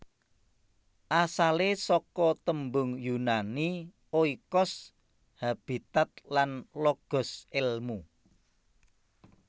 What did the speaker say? Asalé saka tembung Yunani oikos habitat lan logos èlmu